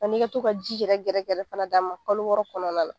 A n'i ka to ka ji yɛrɛ gɛrɛgɛrɛ fana d'a ma kalo wɔɔrɔ kɔnɔna la.